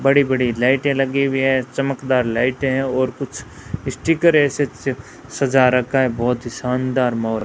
बड़ी बड़ी लाइटें लगी हुई हैं चमकदार लाइटें हैं और कुछ स्टीकर ऐसे सजा रखा है बहोत ही शानदार मोर --